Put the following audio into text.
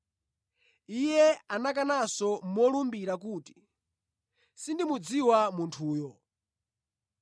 Iye anakananso molumbira kuti, “Sindimudziwa munthuyu!”